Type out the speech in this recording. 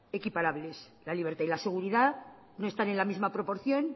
equiparables la libertad y la seguridad no están en la misma proporción